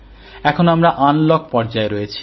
এখন আমরা আনলক পর্যায়ে রয়েছি